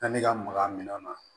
Yanni ka maka minɛn na